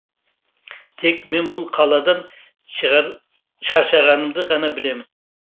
тек мен бұл қаладан шаршағанымды ғана білемін